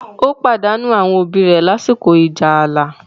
ó pàdánù àwọn òbí rẹ̀ lásìkò ìjà ààlà.